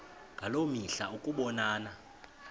ngaloo mihla ukubonana